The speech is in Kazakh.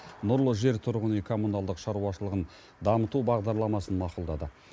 нұрлы жер тұрғын үй коммуналдық шаруашылығын дамыту бағдарламасын мақұлдады